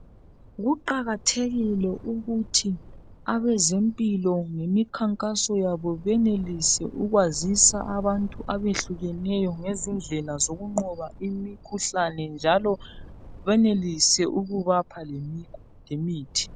Kuqakathekile ukuthi abezempilo ngemikhankaso yabo benelise ukwazisa abantu abehlukeneyo ngezindlela zokunqoba imikhuhlane njalo benelise ukubapha lemithi.